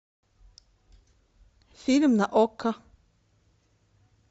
фильм на окко